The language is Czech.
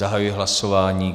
Zahajuji hlasování.